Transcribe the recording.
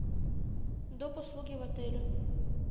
доп услуги в отеле